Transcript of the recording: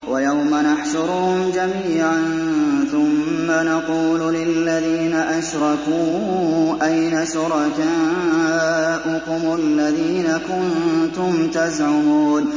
وَيَوْمَ نَحْشُرُهُمْ جَمِيعًا ثُمَّ نَقُولُ لِلَّذِينَ أَشْرَكُوا أَيْنَ شُرَكَاؤُكُمُ الَّذِينَ كُنتُمْ تَزْعُمُونَ